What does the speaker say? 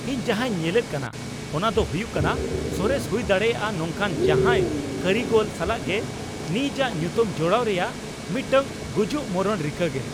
ᱤᱧ ᱡᱟᱦᱟᱸᱧ ᱧᱮᱞᱮᱫ ᱠᱟᱱᱟ ᱚᱱᱟ ᱫᱚ ᱦᱩᱭᱩᱜ ᱠᱟᱱᱟ ᱥᱚᱨᱮᱥ ᱦᱩᱭ ᱫᱟᱲᱮᱭᱟᱜᱼᱟ ᱱᱚᱝᱠᱟᱱ ᱡᱟᱦᱟᱭ ᱠᱟᱹᱨᱤᱜᱚᱞ ᱥᱟᱞᱟᱜ ᱜᱮ ᱱᱤᱡᱟᱜ ᱧᱩᱛᱩᱢ ᱡᱚᱲᱟᱣ ᱨᱮᱭᱟᱜ ᱢᱤᱫᱴᱟᱝ ᱜᱩᱡᱩᱜ ᱢᱚᱨᱚᱱ ᱨᱤᱠᱟᱹ ᱜᱮ ᱾